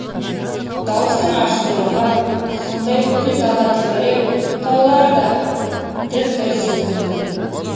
дауыстың аштылығы сондай бүкіл дала тітіреп таулар дір дір сілкінді